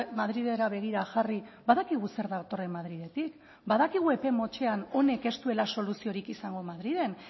madrilera begira jarri badakigu zer datorren madriletik badakigu epe motzean honek ez duela soluziorik izango madrilen